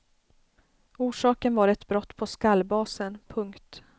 Orsaken var ett brott på skallbasen. punkt